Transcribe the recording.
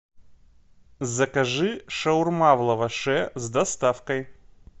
закажи шаурма в лаваше с доставкой